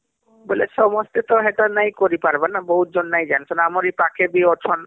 ବୋଇଲେ ସମସ୍ତେ ତ ନାଇଁ କରି ପାରିବାରବହୁତ ଜନ ନାଇଁ ଜାଣିଛନଆମର ଏ ପାଖେର ବି ଅଛନ